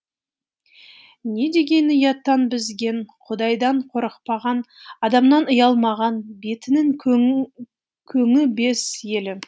не деген ұяттан безген құдайдан қорықпаған адамнан ұялмаған бетінің көні бес елі